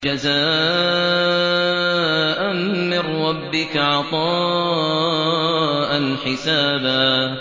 جَزَاءً مِّن رَّبِّكَ عَطَاءً حِسَابًا